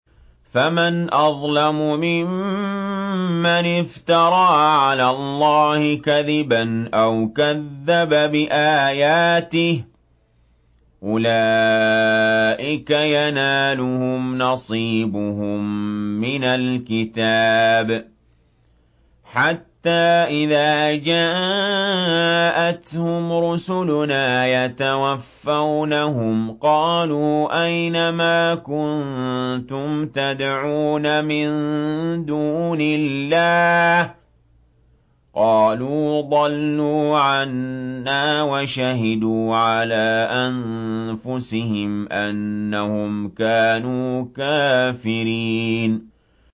فَمَنْ أَظْلَمُ مِمَّنِ افْتَرَىٰ عَلَى اللَّهِ كَذِبًا أَوْ كَذَّبَ بِآيَاتِهِ ۚ أُولَٰئِكَ يَنَالُهُمْ نَصِيبُهُم مِّنَ الْكِتَابِ ۖ حَتَّىٰ إِذَا جَاءَتْهُمْ رُسُلُنَا يَتَوَفَّوْنَهُمْ قَالُوا أَيْنَ مَا كُنتُمْ تَدْعُونَ مِن دُونِ اللَّهِ ۖ قَالُوا ضَلُّوا عَنَّا وَشَهِدُوا عَلَىٰ أَنفُسِهِمْ أَنَّهُمْ كَانُوا كَافِرِينَ